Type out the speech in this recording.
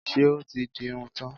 Ṣé o ti di irun tán?